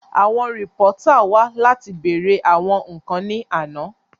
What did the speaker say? Àwọn rìpọ́tà wá láti wá bèèrè àwọn ǹkan ní àná